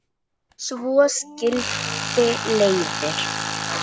Svo skildi leiðir.